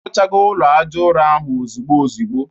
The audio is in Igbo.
Arụchago ụlọ aja ụrọ ahụ ozugbo ozugbo